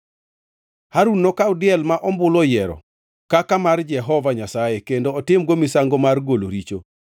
Harun nokaw diel ma ombulu oyiero kaka mar Jehova Nyasaye, kendo otimgo misango mar golo richo.